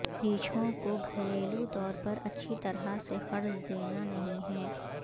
ریچھوں کو گھریلو طور پر اچھی طرح سے قرض دینا نہیں ہے